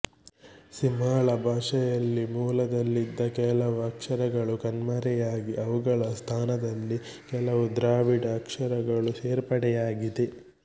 ಸಿಂಹಳ ಭಾಷೆಯಲ್ಲಿ ಮೂಲದಲ್ಲಿದ್ದ ಕೆಲವು ಅಕ್ಷರಗಳು ಕಣ್ಮರೆಯಾಗಿ ಅವುಗಳ ಸ್ಥಾನದಲ್ಲಿ ಕೆಲವು ದ್ರಾವಿಡ ಅಕ್ಷರಗಳು ಸೇರ್ಪಡೆಯಾಗಿದೆ